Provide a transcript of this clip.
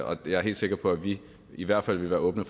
og jeg er helt sikker på at vi i hvert fald vil være åbne